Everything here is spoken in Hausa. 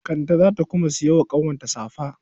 Kande za ta kuma saya wa ƙanwar safa.